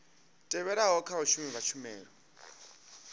tevhelaho kha vhashumi vha tshumelo